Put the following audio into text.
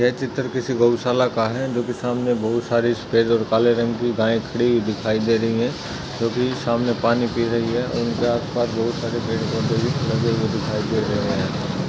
ये चित्र किसी गौशाला का है जो की सामने बहुत सारी सफेद और काले रंग की गाय खड़ी दिखाई दे रही है जो की सामने पानी पी रही है और उनके आस पास बहुत सारे पेड़ पौधे भी दिखाई दे रहे है।